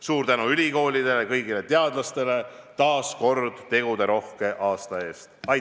Suur tänu ülikoolidele ja kõigile teadlasele taas väga teguderohke aasta eest!